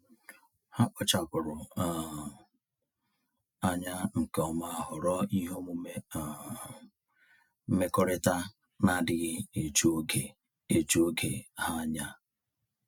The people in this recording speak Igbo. Ha kpachapụrụ um anya nke ọma họrọ ihe omume um mmekọrịta na-adịghị eju oge eju oge ha anya.